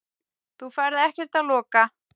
Þú ferð ekkert að loka!